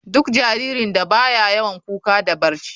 Duk jaririn da baya yawan kuka da barci.